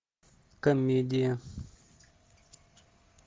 комедия